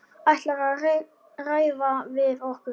Ætlarðu að ræða við okkur?